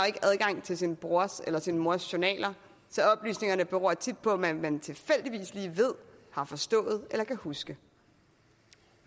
ikke adgang til sin brors eller sin mors journaler så oplysningerne beror tit på hvad man tilfældigvis lige ved har forstået eller kan huske